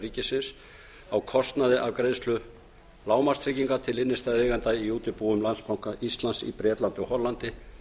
ríkisins á kostnaði af greiðslu lágmarkstryggingar til innstæðueigenda í útibúum landsbanka íslands í bretlandi og hollandi